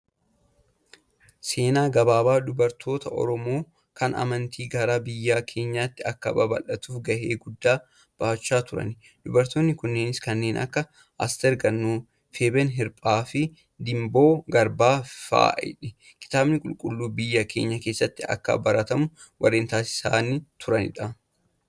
Seenaa gabaabaa dubartoota Oromoo kan amantiin gara biyya keenyaatti akka babal'atuuf gahee guddaa bahachaa turan. Dubartoonni kunneenis kanneen akka; Asteer Gannoo, Feebeen Hirphee fi Dimboo Garbaa fa'idha. Kitaabni qulqulluun biyya keenya keessatti akka baratamu warreen taasisaa turanidha.